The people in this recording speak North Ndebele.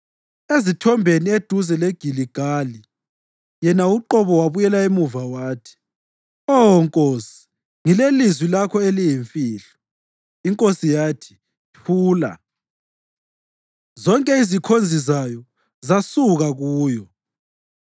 Ezithombeni eduze leGiligali yena uqobo wabuyela emuva, wathi, “Oh nkosi, ngilelizwi lakho eliyimfihlo. ” Inkosi yathi, “Thula!” Zonke izikhonzi zayo zasuka kuyo.